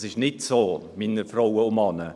Das ist nicht so, meine Frauen und Männer.